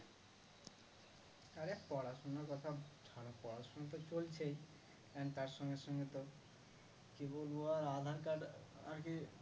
আরে পড়াশুনার কথা ছাড়ো পড়াশুনো তো চলছেই and তার সঙ্গে সঙ্গে তো কি বলবো আর aadhar card আরকি